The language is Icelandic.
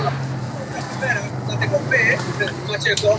Þorskurinn veiðist þó allt í kringum landið.